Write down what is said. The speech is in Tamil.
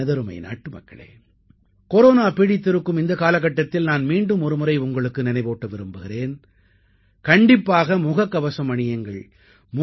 எனதருமை நாட்டுமக்களே கொரோனா பீடித்திருக்கும் இந்த காலகட்டத்தில் நான் மீண்டும் ஒருமுறை உங்களுக்கு நினைவூட்ட விரும்புகிறேன் கண்டிப்பாக முகக்கவசம் அணியுங்கள்